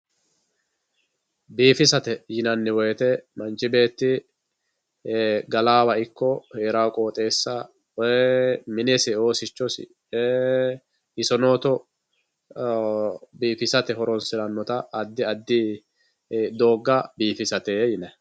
Biifissate yinanni woyte manchi beetti galanowa ikko heerano qooxeessa minesi oosichosi isonotto biifissate horonsiranotta addi addi dooga biifissate yinanni.